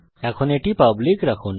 এখন এটি পাবলিক রাখুন